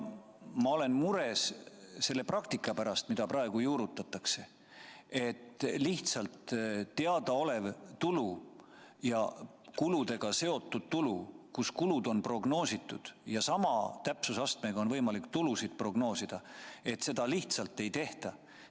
Ma olen mures selle praktika pärast, mida praegu juurutatakse: teadaoleva tulu ja kuludega seotud tulu korral, kui kulud on prognoositud ja sama täpsusastmega on võimalik prognoosida ka tulusid, seda lihtsalt ei tehta.